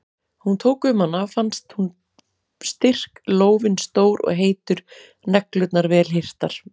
Hún tók um hana og fannst hún styrk, lófinn stór og heitur, neglurnar vel hirtar.